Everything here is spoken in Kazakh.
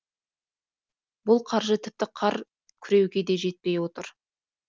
бұл қаржы тіпті қар күреуге де жетпей отыр